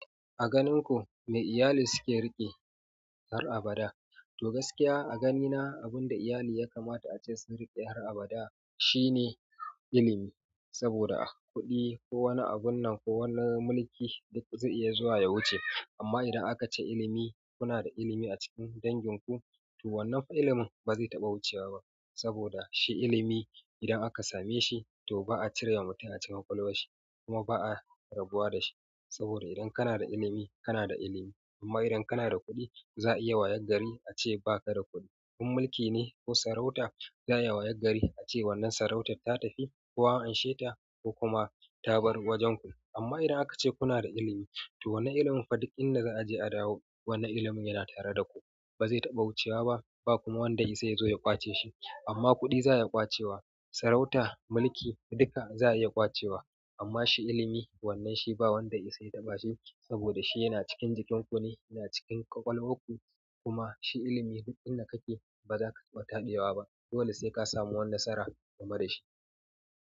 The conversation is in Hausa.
A ganin ku me iyali suke riƙe har abada? To gaskiya a ganina abinda iyali yakamata ace su riƙe har abada shine ilimi. Saboda kuɗi ko wani abun nan ko wani mulki duk zai iya zuwa ya wuce. Amma idan aka ce ilimi, kuna da ilimi a cikin dangin ku, to wannan fa ilimin ba zai taɓa wucewa ba. Saboda shi ilimi idan aka same shi to ba'a cire wa mutum a cikin ƙwaƙwalwa shi kuma ba'a rabuwa da shi. Saboda idan kanada ilimi kanada ilimi. Amma idan kana da kuɗi za'a iya wayaggari ace baka da kuɗi. In mulki ne ko sarauta za'a iya wayar gari ace wannan sarautar ta tafi ko amsheta ko kuma ta bar wajen ku. Amma idan aka ce kuna da ilimi to wannan ilimin fa duk inda za'a je a dawo, wannan ilimin yana tare da ku bazai taɓa wucewa ba. Bakuma wanda ya isa yazo ya ƙwace shi. Amma kuɗi za'a iya ƙwacewa, sarauta, mulki duka za'a iya ƙwace wa. Amma shi ilimi wannan shi ba wanda ishe ya taɓa shi saboda shi yana cikin jikinku ne, yana cikin ƙwaƙwalwar ku kuma shi ilimi duk inda kake bazaka taɓa taɓewa ba. Dole sai kasamu wani nasara game dashi.